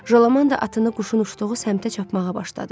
Jolaman da atını quşun uçduğu səmtə çapmağa başladı.